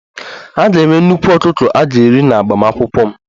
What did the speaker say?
A ga-enwe nnukwu ọkụkọ a ga-eri n'agbamakwụkwọ m